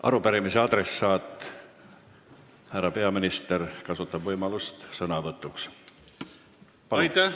Arupärimise adressaat härra peaminister kasutab võimalust veel sõna võtta.